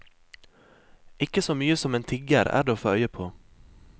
Ikke så mye som en tigger er det å få øye på.